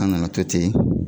' An ka na to ten.